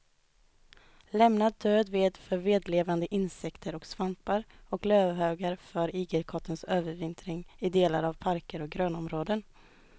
Lämna död ved för vedlevande insekter och svampar och lövhögar för igelkottens övervintring i delar av parker och grönområden.